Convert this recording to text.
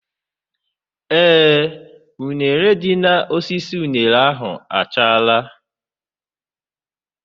Ee, uṅere dị n'osisi uṅere ahụ achaala.